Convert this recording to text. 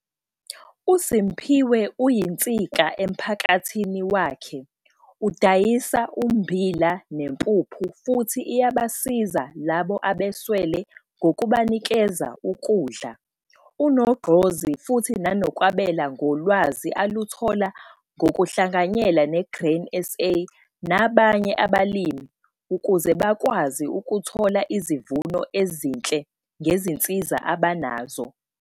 USimphiwe uyinsika emphakathini wakhe, udayisa ummbila nempuphu futhi iyabasiza labo abeswele ngokubanikeza ukudla. Unogqozi futhi nangokwabela ngolwazi aluthola ngokuhlanganyela ne-Grain SA nabanye abalimi ukuze bakwazi ukuthola izivuno ezinhle ngezinsiza abanazo.